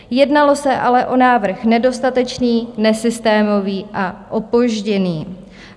Jednalo se ale o návrh nedostatečný, nesystémový a opožděný.